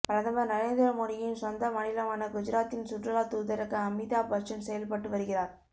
பிரதமர் நரேந்திர மோடியின் சொந்த மாநிலமான குஜராத்தின் சுற்றுலா தூதராக அமிதாப் பச்சன் செயல்பட்டு வருகிறார்